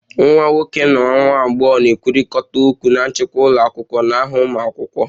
Nwa nwoke / nwa agbọghọ na-ekwurịta okwu na nchịkwa ụlọ akwụkwọ n'aha ụmụ akwụkwọ